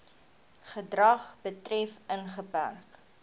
gedrag betref ingeperk